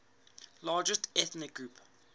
largest ethnic groups